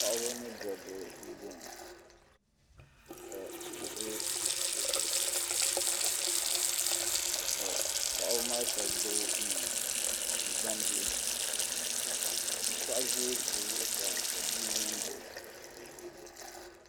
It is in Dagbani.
Paɣaba ni dabba n boŋo ka tihi ʒɛ bi zuɣusaa ka paɣaba maa shab gbubi ŋmana ni gbambihi ka paɣa ʒɛ o zuɣusaa ka bia ʒɛ n baɣa o